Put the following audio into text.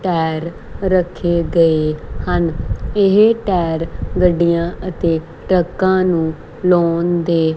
tyre ਰੱਖੇ ਗਏ ਹਨ ਇਹ ਟੈਰ ਗੱਡੀਆਂ ਅਤੇ ਟਰੱਕਾਂ ਨੂੰ ਲਾਉਣ ਦੇ--